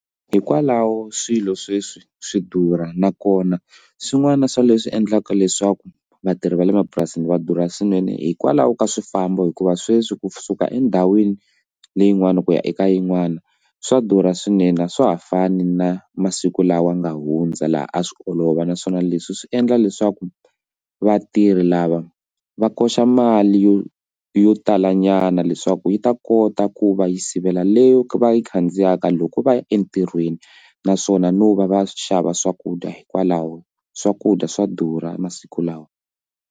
Hikwalaho swilo sweswi swi durha nakona swin'wana swa leswi endlaka leswaku vatirhi va le mapurasini va durha swinene hikwalaho ka swifambo hikuva sweswi kusuka endhawini leyin'wani ku ya eka yin'wana swa durha swinene a swa ha fani na masiku lawa nga hundza laha a swi olova naswona leswi swi endla leswaku vatirhi lava va koxa mali yo yo tala nyama nyana leswaku yi ta kota ku va yi sivela leyi va yi khandziyaka loko va ya entirhweni naswona no va va xava swakudya hikwalaho swakudya swa durha masiku lawa.